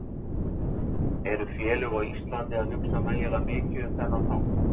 Eru félög á Íslandi að hugsa nægilega mikið um þennan þátt?